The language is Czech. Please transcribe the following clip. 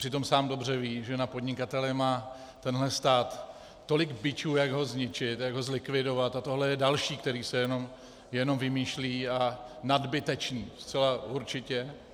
Přitom sám dobře ví, že na podnikatele má tenhle stát tolik bičů, jak ho zničit, jak ho zlikvidovat, a tohle je další, který se jenom vymýšlí, a nadbytečný, zcela určitě.